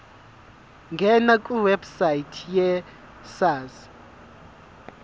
ngena kwiwebsite yesars